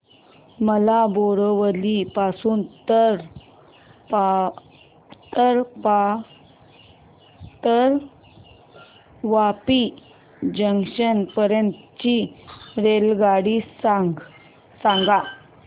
मला बोरिवली पासून तर वापी जंक्शन पर्यंत ची रेल्वेगाडी सांगा